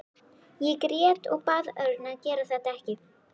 Ég grét og bað Örn að gera þetta ekki.